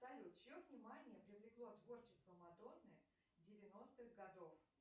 салют чье внимание привлекло творчество мадонны девяностых годов